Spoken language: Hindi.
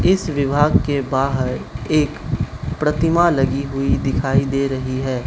इस विभाग के बाहर एक प्रतिमा लगी हुई दिखाई दे रही है।